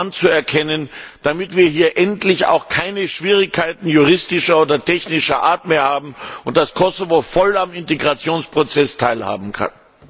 anzuerkennen, damit wir hier endlich keine Schwierigkeiten juristischer oder technischer Art mehr haben, so dass Kosovo voll am Integrationsprozess teilhaben kann.